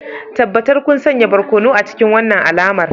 Tabbatar kun sanya barkono a cikin wannan alamar